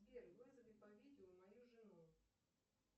сбер вызови по видео мою жену